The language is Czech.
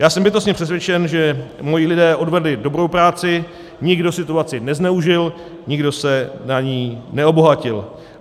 Já jsem bytostně přesvědčen, že moji lidé odvedli dobrou práci, nikdo situaci nezneužil, nikdo se na ní neobohatil.